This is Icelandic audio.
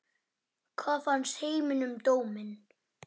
En hvað fannst heimi um dóminn?